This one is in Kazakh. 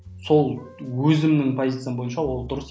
сол өзімнің позициям бойынша ол дұрыс